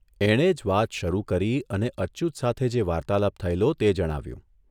એણે જ વાત શરૂ કરી અને અચ્યુત સાથે જે વાર્તાલાપ થયેલો તે જણાવ્યું.